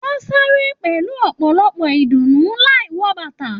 Wọn sáré pẹlú ọpọlọpọ ìdùnnú láì wọ bàtà.